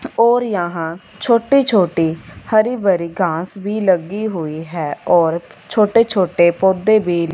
और यहां छोटे छोटी हरी भरी घास भी लगी हुई है और छोटे-छोटे पौधे भी --